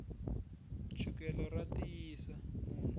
chukele ra tiyisa munhu